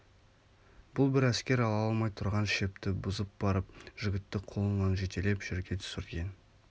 бұл бір әскер ала алмай тұрған шепті бұзып барып жігітті қолынан жетелеп жерге түсірген